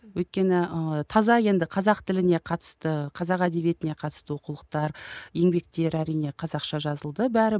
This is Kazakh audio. өйткені ііі таза енді қазақ тіліне қатысты қазақ әдебиетіне қатысты оқулықтар еңбектер әрине қазақша жазылды бәрі